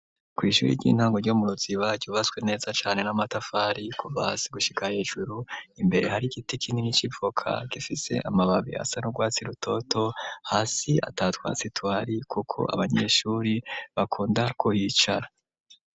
Kw'ishuri ry'intango ryo mu ruziba yubaswe neza cane n'amatafari kubasi gushika hejuru imbere hari igiti kineni c'ipfoka gifise amababi asa n'urwatsi rutoto hasi atatwa sitwari, kuko abanyeshuri bakunda kuyicara.